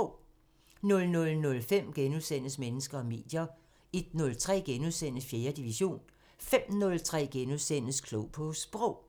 00:05: Mennesker og medier * 01:03: 4. division * 05:03: Klog på Sprog *